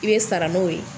I bɛ sara n'o ye